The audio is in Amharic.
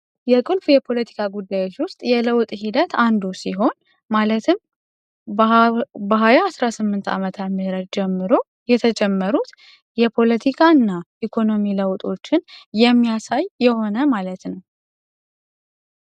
የቁልፍ የፖለቲካ ጉዳዮች ውስጥ አንዱ ጉዳይ የለውጥ ጉዳይ ሲሆን ማለትም በሃያ አስራስምንት ዓመተ ምህረት ጀምሮ የተጀመሩትን የፖለቲካ እና የለውጥ ጉዳዮችን የሚያሳይ የሆነ ማለት ነው።